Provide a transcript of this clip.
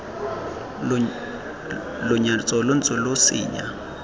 lenyatso lo ntse lo senya